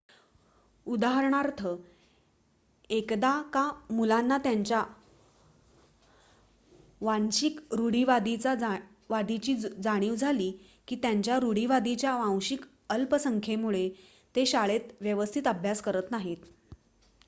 उदाहरणार्थ एकदा का मुलांना त्यांच्या वांशिक रूढीवादाची जाणीव झाली की त्यांच्या रूढीवादाच्या वांशिक अल्पसंखेमुळे ते शाळेत व्यवस्थित अभ्यास करत नाहीत